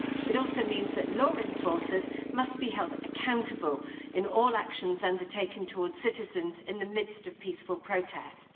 This also means that law enforcers must be held accountable in all actions undertaken towards citizens in the midst of peaceful protests.